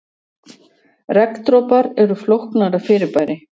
regndropar eru flóknara fyrirbæri